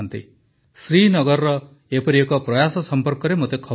ଶ୍ରୀନଗରର ଏପରି ଏକ ପ୍ରୟାସ ସମ୍ପର୍କରେ ମୋତେ ଖବର ମିଳିଛି